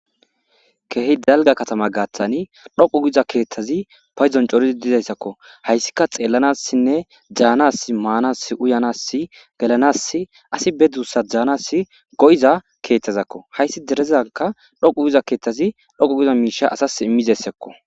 Keehi dalgga katamgadai dhoqu giddi diza keththatinne danasinne manasinne uyanasi gelanasi asi ba dussa danasi go'iza keththazako ha izi derezanika dhoqu giza keththeti dhoqu giza misha asasi immiza issako